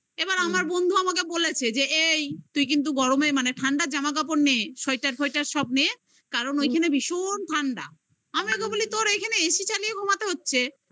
এবার আমার বন্ধু আমাকে বলেছে যে এই তুই কিন্তু গরমে মানে ঠান্ডার জামা কাপড় নে sweater ফয়েটার সব নে কারণ ওইখানে ভীষণ ঠান্ডা আমি ওকে বলি তোর এখানে AC চালিয়ে ঘুমাতে হচ্ছে